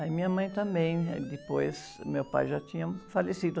Aí minha mãe também, eh, depois meu pai já tinha falecido.